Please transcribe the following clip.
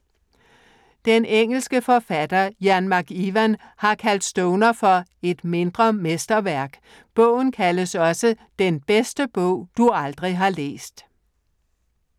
Den engelske forfatter Ian McEwan har kaldt Stoner for "et mindre mesterværk". Bogen kaldes også "den bedste bog, du aldrig har læst".